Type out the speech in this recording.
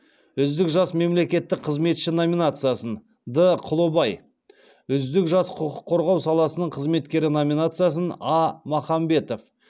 үздік жас мемлекеттік қызметші номинациясын д құлыбай үздік жас құқық қорғау саласының қызметкері номинациясын а махамбетова